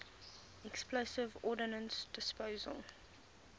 explosive ordnance disposal